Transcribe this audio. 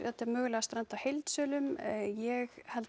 þetta mögulega strandi á heildsölum ég held